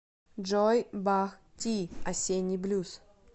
джой бах ти осенний блюз